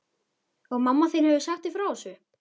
Og mamma þín hefur sagt þér frá þessu?